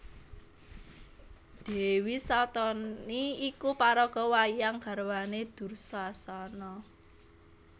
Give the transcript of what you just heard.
Dèwi Saltani iku paraga wayang garwané Dursasana